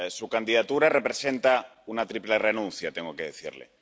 Su candidatura representa una triple renuncia, tengo que decirle.